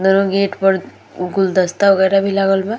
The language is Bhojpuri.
दोनों गेट पर गुलदस्ता वगैरा भी लागल बा।